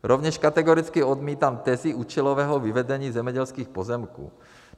Rovněž kategoricky odmítám tezi účelového vyvedení zemědělských pozemků.